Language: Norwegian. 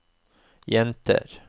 jenter